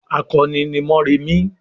"Akọni ni Mórèmí!"